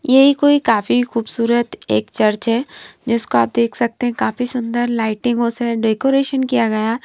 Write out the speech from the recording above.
यही कोई काफी खूबसूरत एक चर्च है जिसको आप देख सकते हैं काफी सुंदर लाइटिंग होस है डेकोरेशन किया गया।